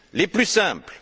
Les plus simples!